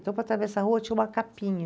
Então para atravessar a rua tinha uma capinha.